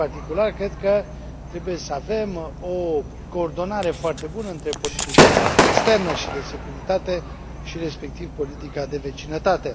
În particular, cred că trebuie să avem o coordonare foarte bună între politica noastră externă și de securitate și, respectiv, politica de vecinătate.